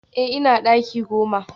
Eh ina daki goma